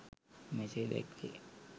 මෙසේ දැක්වේ.